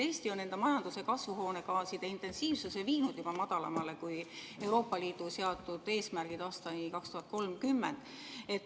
Eesti on enda majanduse kasvuhoonegaaside intensiivsuse viinud juba madalamale kui Euroopa Liidu seatud eesmärgid aastani 2030.